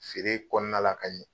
Feere kɔnɔna la Kayi